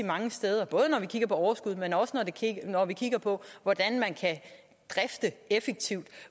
mange steder både når vi kigger på overskuddet men også når vi kigger på hvordan man kan drifte effektivt